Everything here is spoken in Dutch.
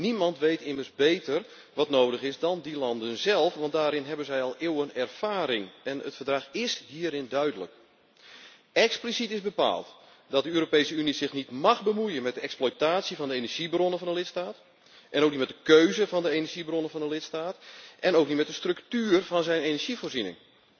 Niemand weet immers beter wat nodig is dan die landen zelf, want daarin hebben zij al eeuwen ervaring en het Verdrag is hierin duidelijk. Expliciet is bepaald dat de Europese Unie zich niet mag bemoeien met de exploitatie van de energiebronnen van een lidstaat, ook niet met de keuze van de energiebronnen van een lidstaat en ook niet met de structuur van zijn energievoorziening.